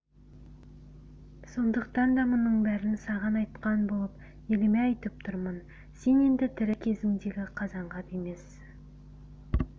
сондықтан да мұның бәрін саған айтқан болып еліме айтып тұрмын сен енді тірі кезіңдегі қазанғап емессің